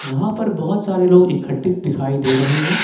यहां पर बहुत सारे लोग इकट्ठे दिखाई दे रहे हैं।